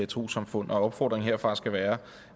trossamfund og opfordringen herfra skal være